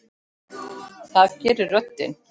Það gerir röddin.